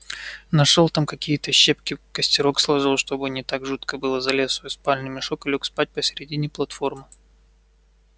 нашёл там какие-то щепки костерок сложил чтобы не так жутко было залез в свой спальный мешок и лёг спать посередине платформы